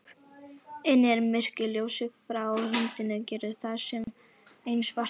Inni er myrkur, ljósið frá hundinum gerir það enn svartara.